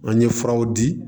An ye furaw di